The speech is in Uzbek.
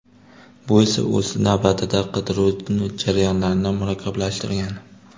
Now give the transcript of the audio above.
Bu esa o‘z navbatida, qidiruv jarayonlarini murakkablashtirgan.